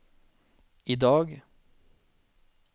idag